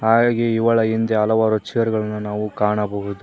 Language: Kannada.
ಹಾಗೆ ಇವಳ ಹಿಂದೆ ಹಲವಾರು ಚೇರ್ ಗಳನ್ನು ನಾವು ಕಾಣಬಹುದು.